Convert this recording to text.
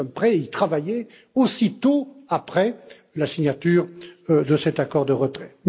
Nous sommes prêts à y travailler aussitôt après la signature de cet accord de retrait.